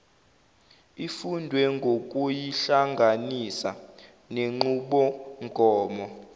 ifundwe ngokuyihlanganisa nenqubomgomo